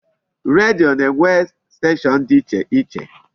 Redio na-enwe station dị iche iche.